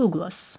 Duqlas.